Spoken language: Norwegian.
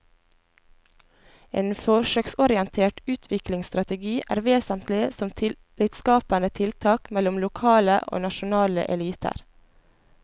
En forsøksorientert utviklingsstrategi er vesentlig som tillitsskapende tiltak mellom lokale og nasjonale eliter.